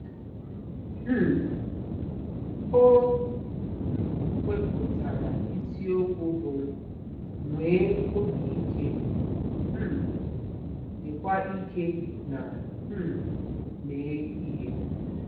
um O wepụtara isiokwu bụ́ “Nwee Obi Ike, um Dịkwa Ike na um Mee Ihe.”